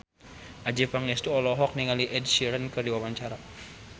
Adjie Pangestu olohok ningali Ed Sheeran keur diwawancara